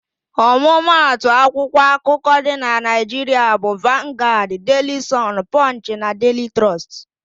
Ọmụmatụ akwụkwọ akụkọ dị na Naịjiria bụ: Vangaad, Deili Sọn, Pọnchị na Deili Trọst.